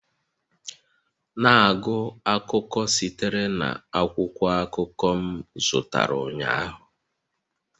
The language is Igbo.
Na-agụ akụkọ sitere na akwụkwọ akụkọ m zụtara ụnyaahụ